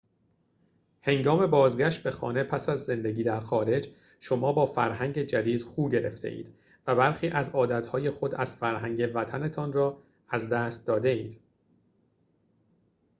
هنگام بازگشت به خانه پس از زندگی در خارج شما با فرهنگ جدید خو گرفته‌اید و برخی از عادت‌های خود از فرهنگ وطن‌تان را از دست داده‌اید